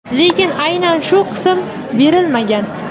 lekin aynan shu qismi berilmagan.